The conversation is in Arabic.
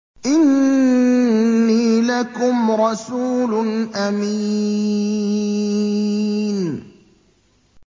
إِنِّي لَكُمْ رَسُولٌ أَمِينٌ